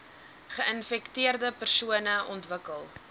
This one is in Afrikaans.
geinfekteerde persone ontwikkel